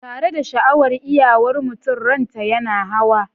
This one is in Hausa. tare da sha'awar iyawar mutum, ranta yana hawa.